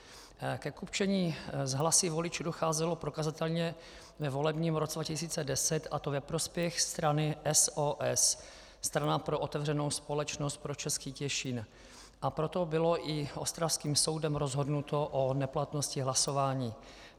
Ke kupčení s hlasy voličů docházelo prokazatelně ve volebním roce 2010, a to ve prospěch strany SOS - Strana pro otevřenou společnost pro Český Těšín, a proto bylo i ostravským soudem rozhodnuto o neplatnosti hlasování.